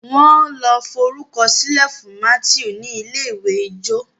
wan ló forukọsilẹ fún Matthew ní ilé-ìwé ijó